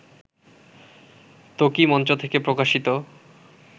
ত্বকী মঞ্চ থেকে প্রকাশিত